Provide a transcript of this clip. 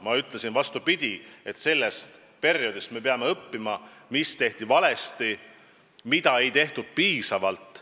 Ma ütlesin, vastupidi, et me peame sellest perioodist õppima, mis tehti valesti, mida ei tehtud piisavalt.